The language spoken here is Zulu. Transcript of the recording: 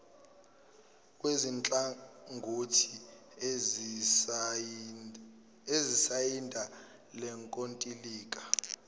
kwezinhlangothi ezisayinda lenkontileka